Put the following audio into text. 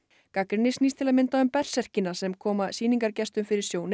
gagnrýni snýst til að mynda um berserkina sem koma sýningargestum fyrir sjónir